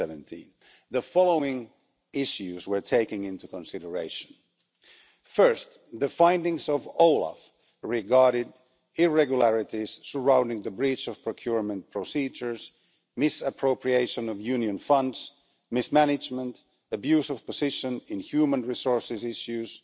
2017. The following issues were taken into consideration first, the findings of OLAF regarding irregularities surrounding the breach of procurement procedures, misappropriation of union funds, mismanagement, abuse of position in human resources issues,